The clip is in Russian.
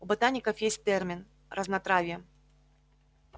у ботаников есть термин разнотравье